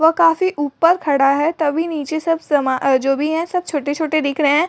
वह काफी ऊपर खड़ा है तभी नीचे सब सामा जो भी हैं सब छोटे-छोटे दिख रहे हैं।